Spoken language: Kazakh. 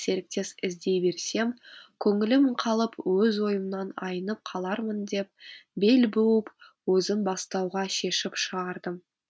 серіктес іздей берсем көңілім қалып өз ойымнан айнып қалармын деп бел буып өзім бастауға шешім шығардым